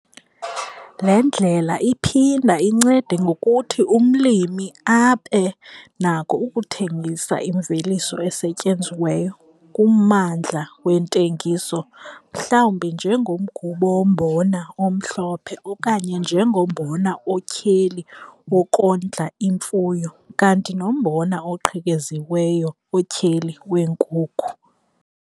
Le ndlela iphinda incede ngokuthi umlimi abe nako ukuthengisa imveliso esetyenziweyo kummandla wentengiso mhlawumbi njengomgubo wombona omhlophe okanye njengombona otyheli wokondla imfuyo kanti nombona oqhekeziweyo otyheli weenkuku.